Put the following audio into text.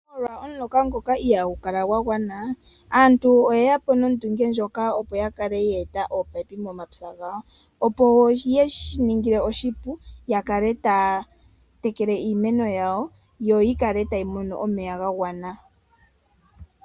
Molwa omuloka ngoka ihagu kala gwa gwana, aantu oye ya po nondunge ndjoka opo ya kaleye eta ominino momapya gawo, opo shi ya ningile oshipu ya kale taya tekele iimeno yawo yo yi kale tayi mono omeya ga gwana.